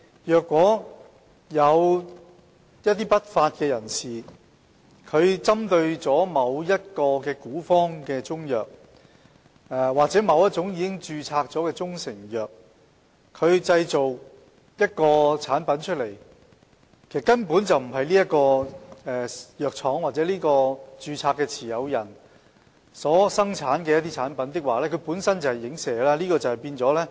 若有不法分子仿冒某古方中藥或某種已註冊的中成藥，製造另一種產品，而該產品並非由其藥廠或註冊商標持有人生產，該產品則屬於影射。